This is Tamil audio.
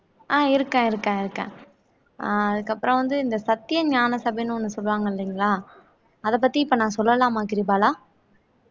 அஹ் இருக்கேன் இருக்கேன் அஹ் அதுக்கு அப்புறம் வந்து இந்த சத்திய ஞான சபைன்னு ஒண்ணு சொல்லுவாங்க இல்லைங்களா அத பத்தி இப்போ நான் சொல்லலாமா கிரிபாலா